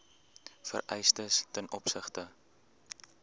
vereistes ten opsigte